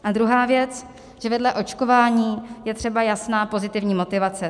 A druhá věc, že vedle očkování je třeba jasná pozitivní motivace.